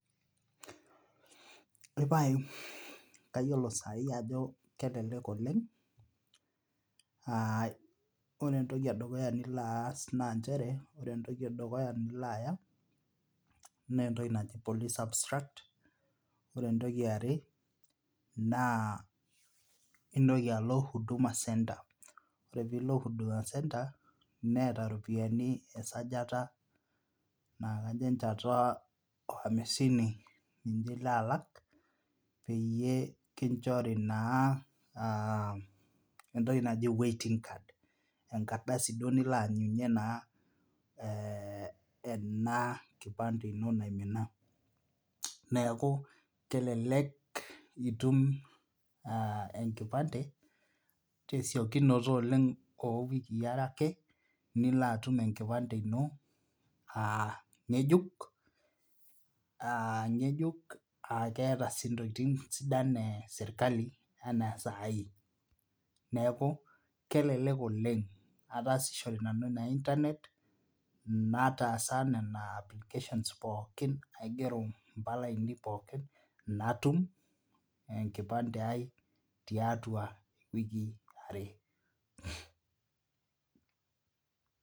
Epae kayiolo sai ajo kelelek oleng' aa ore entoki edukuya nilo aas naa nchere ore entoki edukuya nilo aya naa entoki naji police Abstract Ore entoki eare naa intoki alo Huduma Centre , ore piilo Huduma Centre neeta iropiani esajata naakajo enjeta ooamisini ninye ilo alak peyie kinjori naa entoki naji waiting card? enkardasi duo nilo aanyunye naa enakipande ino naimina neeku kelelk itum enkipande tesiokinoto oleng owikii are ake nilo atum enkipande ino aa ng'ejuk aa keeta sii intokiting sidan eserkali enaa saai neeku kelelek oleng ataasishore nanu ina internet nataasa nena applications pookin aigero impala ainei pookin inatum enkipande ai tiatua iwikii are